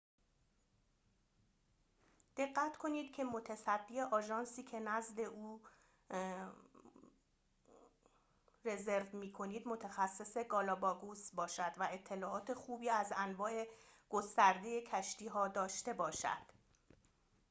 دقت کنید که متصدی آژانسی که نزد او رزرو می‌کنید متخصص گالاپاگوس باشد و اطلاعات خوبی از انواع گسترده کشتی‌ها داشته باشد